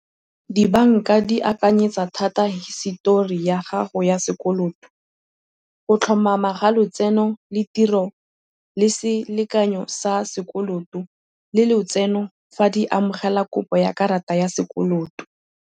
Dibanka di akanyetsa thata histori ya gago ya sekoloto, go tlhomama ga lotseno le tiro le selekanyo sa sekoloto le lotseno, fa di amogela kopo ya karata ya sekoloto.